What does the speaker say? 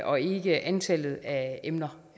og ikke antallet af emner